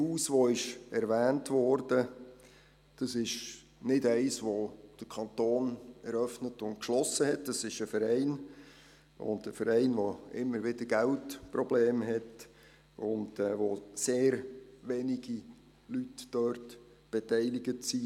Das erwähnte Mädchenhaus Bienne ist nicht vom Kanton eröffnet und geschlossen worden, sondern es handelt sich um einen Verein, der immer wieder Geldprobleme hat und an dem sehr wenige Personen beteiligt sind.